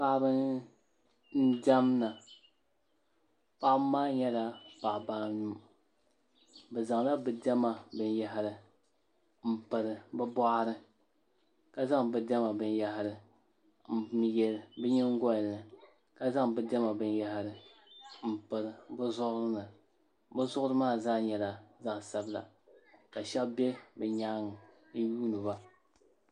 Paɣaba n diɛmda paɣaba maa nyɛla paɣaba anu bi zaŋla bi diɛma binyahari n piri bi boɣari ka zaŋ bi diɛma binyahari n yɛ bi nyingoli ni ka zaŋ bi diɛma binyahari n pili bi zuɣuri ni bi zuɣuri maa zaa nyɛla gbansabila ka shab bɛ bi nyaanga n yuundiba